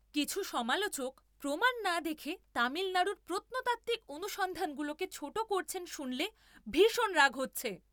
কিছু সমালোচক প্রমাণ না দেখে তামিলনাড়ুর প্রত্নতাত্ত্বিক অনুসন্ধানগুলোকে ছোট করেছেন শুনলে ভীষণ রাগ হচ্ছে!